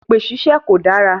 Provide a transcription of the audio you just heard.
Èpè ṣíṣe kò dára.